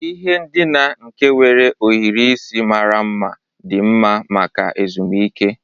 Ihe ndina nke nwere ohiri isi mara mma dị mma maka ezumike.